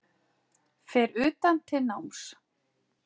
Fer utan til náms